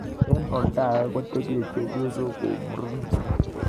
Eng olda age ko kitpche chebyosok kou murenik.